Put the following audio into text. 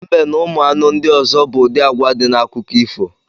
Mbe na ụmụ anụ ndi ọzọ bụ ụdị agwa di n’akụkọ ifo